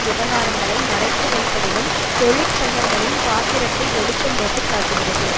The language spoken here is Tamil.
விவகாரங்களை மறைத்து வைப்பதிலும் தொழிற்சங்கங்களின் பாத்திரத்தை வெளிச்சம் போட்டு காட்டுகிறது